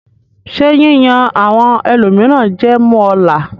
Ṣé yíyan àwọn ẹlòmíràn jẹ máa mú ọ là?